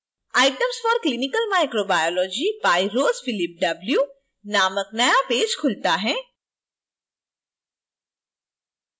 items for clinical microbiology by ross philip w नामक नया page खुलता है